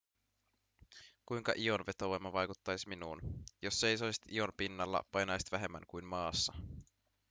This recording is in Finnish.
kuinka ion vetovoima vaikuttaisi minuun jos seisoisit ion pinnalla painaisit vähemmän kuin maassa